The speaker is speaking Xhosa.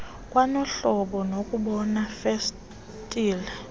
kwanohlobo lokuboba festile